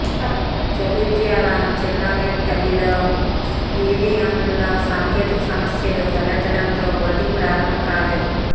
జగిత్యాల జిల్లా మెట్ పల్లిలో ఈవీఎంలలో సాంకేతిక సమస్యలు తలెత్తడంతో ఓటింగ్ ప్రారంభంకాలేదు